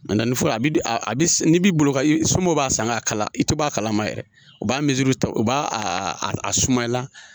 a bi a bi n'i b'i bolo ka sunɔgɔ b'a san k'a kala i te bɔ a kalama yɛrɛ u b'a ta u b'a a sumayala